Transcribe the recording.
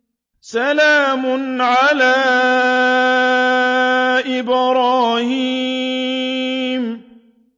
سَلَامٌ عَلَىٰ إِبْرَاهِيمَ